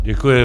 Děkuji.